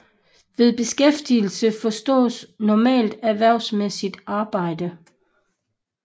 Ved beskæftigelse forstås normalt erhvervsmæssigt arbejde